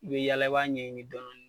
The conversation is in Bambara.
I be yaala i b'a ɲɛɲini dɔnɔni.